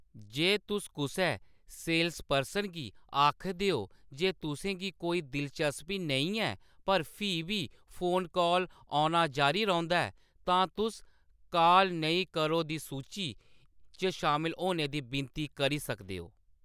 जे तुस कुसै सेल्सपर्सन गी आखदे ओ जे तुसें गी कोई दिलचस्पी नेईं ऐ, पर फ्ही बी फोन काल औना जारी रौंह्‌दा ऐ, तां तुस 'काल नेईं करो दी सूची' च शामल होने दी विनती करी सकदे ओ।